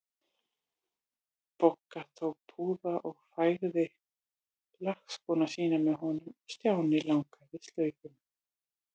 Bogga tók púða og fægði lakkskóna sína með honum og Stjáni lagaði slaufuna.